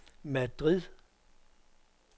Madrid